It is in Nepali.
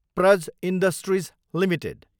Praj industries Ltd